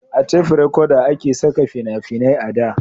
a tef rekoda a ke saka fina-finai a da